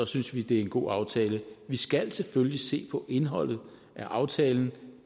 synes vi det er en god aftale vi skal selvfølgelig se på indholdet af aftalen